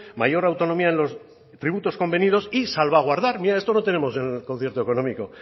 mayor autonomía en los tributos convenidos y salvaguardar mira esto no tenemos en el concierto económico